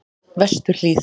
Vesturhlíð